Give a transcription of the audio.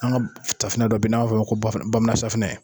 An ka safinɛ dɔ bɛ yen n'a b'a f'a ma ko bamanan safinɛ.